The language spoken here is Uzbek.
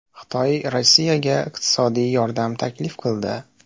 Xitoy Rossiyaga iqtisodiy yordam taklif qildi.